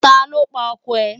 Ta ló pa ọkọ rẹ̀